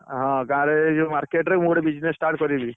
ହଁ, ଗାଁ ରେ ଏଇ ଯୋଉ market ରେ ମୁଁ ଗୋଟେ business start କରିବି।